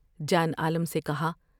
جان عالم سے کہا ۔